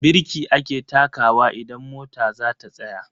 Birki ake takawa idan mota zata tsaya.